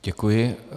Děkuji.